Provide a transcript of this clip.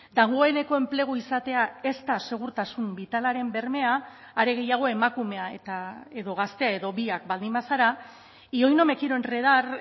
dagoeneko enplegu izatea ez da segurtasun bitalaren bermea are gehiago emakumea eta edo gaztea edo biak baldin bazara y hoy no me quiero enredar